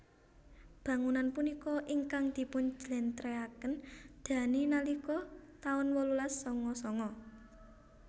Bangunan punika ingkang dipun jlentrehaken Dhani nalika taun wolulas sanga sanga